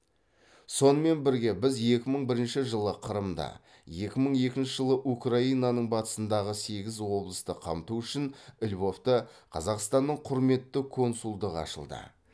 сонымен бірге біз екі мың бірінші жылы қырымда екі мың екінші жылы украинаның батысындағы сегіз облысты қамту үшін львовта қазақстанның құрметті консулдығы ашылды